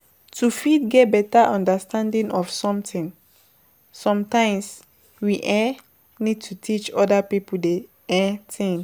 To fit get better understanding of something sometimes we um need to teach oda pipo the um thing